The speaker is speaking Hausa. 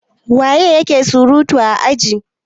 waye yake surutu a ajin?